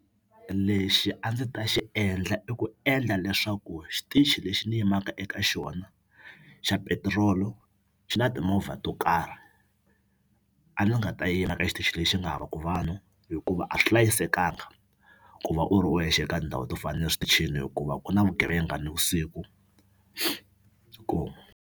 Lexi a ndzi ta xi endla i ku endla leswaku xitichi lexi ni yimaka eka xona xa petirolo xi na timovha to karhi a ndzi nga ta yima ka xitichi lexi nga havaku vanhu hikuva a swi hlayisekanga ku va u ri wexe eka ndhawu to fana ni le switichini hikuva ku na vugevenga nivusiku .